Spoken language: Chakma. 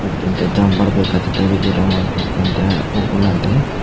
ekke te jambar bo ekka tekke biji rongo dokken dege oboladi.